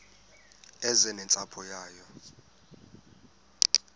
eze nentsapho yayo